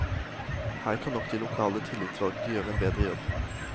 Her kan nok de lokale tillitsvalgte gjøre en bedre jobb.